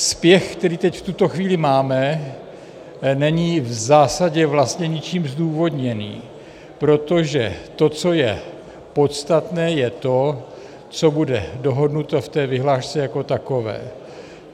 Spěch, který teď v tuto chvíli máme, není v zásadě vlastně ničím zdůvodněný, protože to, co je podstatné, je to, co bude dohodnuto v té vyhlášce jako takové.